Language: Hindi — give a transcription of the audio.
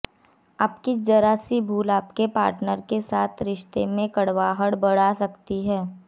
आपकी जरा सी भूल आपके पार्टनर के साथ रिश्ते में कड़वाहट बढ़ा सकती है